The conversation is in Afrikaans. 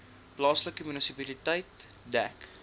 plaaslike munisipaliteit dek